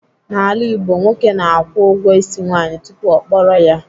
N'ala Igbo, nwoke na-akwụ ụgwọ ịsị nwaanyị tupu ọ kpọrọ ya.